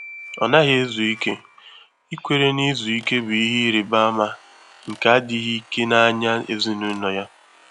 Ọ́ nàghị́ èzù íké, íkwèré nà ízu íké bụ́ ìhè ị́rị́bà ámà nké ádị́ghị́ íké n’ányá èzínụ́lọ́ yá.